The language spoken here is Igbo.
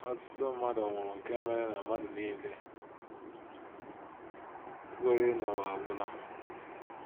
Ọtụtụ mmadụ nwụrụ nke mere na mmadụ nile kweere na ụwa agwụla. ’